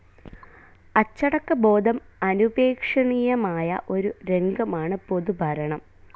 അച്ചടക്കബോധം അനുപേക്ഷണീയമായ ഒരു രംഗമാണ് പൊതുഭരണം.